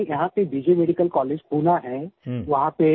sir ji यहाँ मैं यहाँ से बीजेमेडिकल कॉलेज पुणे है